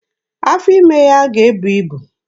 Afọ ime ya ga-ebu ibu.